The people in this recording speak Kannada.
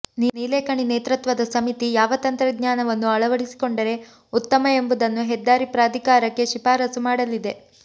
ನಿಲೇಕಣಿ ನೇತೃತ್ವದ ಸಮಿತಿ ಯಾವ ತಂತ್ರಜ್ಞಾನವನ್ನು ಅಳವಡಿಸಿಕೊಂಡರೆ ಉತ್ತಮ ಎಂಬುದನ್ನು ಹೆದ್ದಾರಿ ಪ್ರಾಧಿಕಾರಕ್ಕೆ ಶಿಫಾರಸ್ಸು ಮಾಡಲಿದೆ